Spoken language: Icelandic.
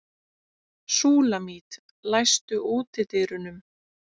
Súlamít, læstu útidyrunum.